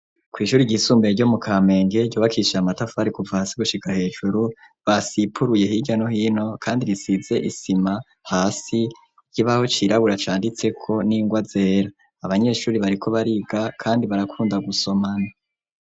Kw'ishuri ryisumbeye ryo mu Kamenge ryubakishije amatafari kuva hasi gushika hejuru ,basipuruye hirya no hino kandi risize isima hasi ,ikibaho cirabura canditseko n'ingwa zera, abanyeshuri bariko bariga kandi barakunda gusomana.